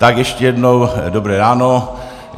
Tak ještě jednou dobré ráno.